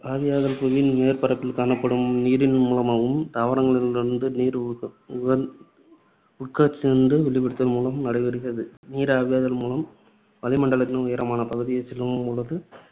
ஆவியாதல் புவியின் மேற்பரப்பில் காணப்படும் நீரின் மூலமாகவும் தாவரங்களிலிருந்து நீர் உட்கசிந்து வெளியிடுதல் மூலமும் நடைபெறுகிறது. நீர், ஆவியாதல் மூலம் வளிமண்டலத்தின் உயரமான பகுதிகளுக்குச் செல்லும் பொழுது,